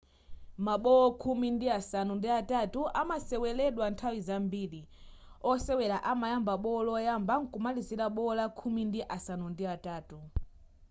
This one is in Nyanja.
ma bowo khumi ndi asanu ndi atatu amaseweledwa nthawi zambiri osewela amayamba bowo loyamba nkumalizila bowo la khumi ndi asanu ndi atatu